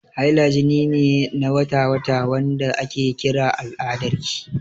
Haila jini ne na wata-wata, wanda ake kira al'adarki.